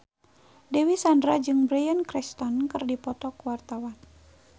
Dewi Sandra jeung Bryan Cranston keur dipoto ku wartawan